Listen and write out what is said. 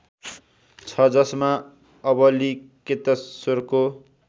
छ जसमा अवलिकेतेश्‍वरको